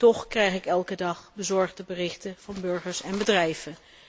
Toch krijg ik elke dag bezorgde berichten van burgers en bedrijven.